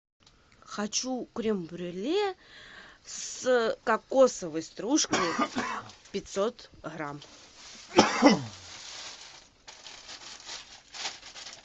хочу крем брюле с кокосовой стружкой пятьсот грамм